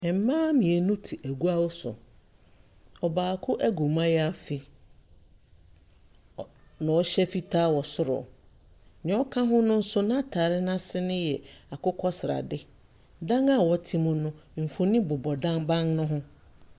Ɛmbaa mienu te egua so. Ɔbaako egu mayaafi na ɔhyɛ fitaa wɔ soro nea ɔka ho no so n'ataade n'ase yɛ akokɔsrade. Dan a wɔte mu no mfonin bobɔ ban ne ho.